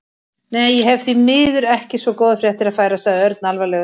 Nei, ég hef því miður ekki svo góðar fréttir að færa sagði Örn alvarlegur.